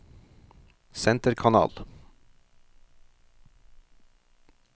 senterkanal